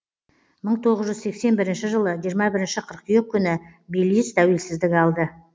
мың тоғыз жүз сексен бірінші жылы жиырма бірінші қыркүйек күні белиз тәуелсіздік алды